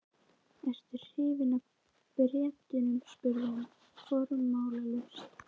Ertu hrifinn af Bretum? spurði hann formálalaust.